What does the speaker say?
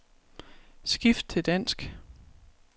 Skift til dansk.